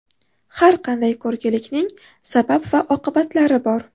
Har qanday ko‘rgilikning sabab va oqibatlari bor.